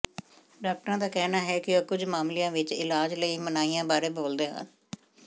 ਡਾਕਟਰਾਂ ਦਾ ਕਹਿਣਾ ਹੈ ਕਿ ਉਹ ਕੁਝ ਮਾਮਲਿਆਂ ਵਿੱਚ ਇਲਾਜ ਲਈ ਮਨਾਹੀਆਂ ਬਾਰੇ ਬੋਲਦੇ ਹਨ